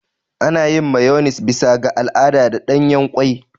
Ana yin Mayones bisa ga al'ada da ɗanyen ƙwai.